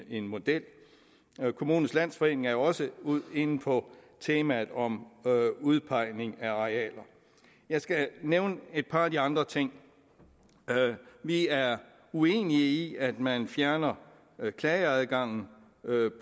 en model kommunernes landsforening er jo også inde på temaet om udpegning af arealer jeg skal nævne et par af de andre ting vi er uenige i at man fjerner klageadgangen